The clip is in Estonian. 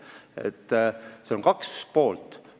Sellel asjal on kaks poolt.